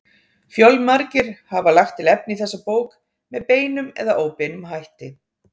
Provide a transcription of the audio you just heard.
Fjölmargir hafa lagt til efni í þessa bók með beinum eða óbeinum hætti.